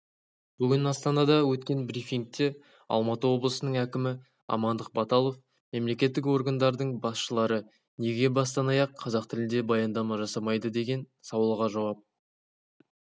бүгін астанада өткен брифингте алматы облысының әкімі амандық баталов мемлекеттік органдардың басшылары неге бастан-аяқ қазақ тілінде баяндама жасамайды деген сауалға жауап